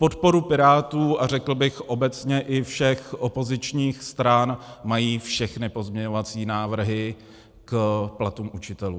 Podporu Pirátů, a řekl bych obecně i všech opozičních stran, mají všechny pozměňovací návrhy k platům učitelů.